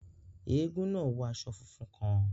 Èègún náà wọ aṣọ fúnfún kàn